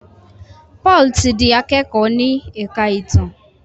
Paul tí dì akẹkọ ní èka ìtàn.